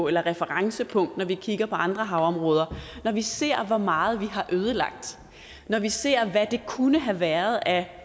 eller referencepunkt for når vi kigger på andre havområder når vi ser hvor meget vi har ødelagt når vi ser hvad der kunne have været af